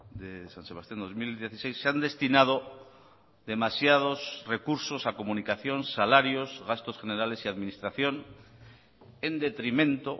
de san sebastián dos mil dieciséis se han destinado demasiados recursos a comunicación salarios gastos generales y administración en detrimento